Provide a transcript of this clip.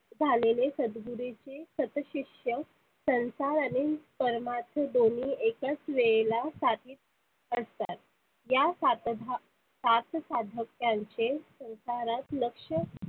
झालेले सदगुरुचे सत शिष्य संसाराने परमात्मा दोन्ही एकाच वेळेला साधीत असतात. या सातधा सात साधक्यांचे संसारात लक्ष